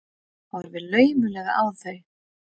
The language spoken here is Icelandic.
Horfi laumulega á þau.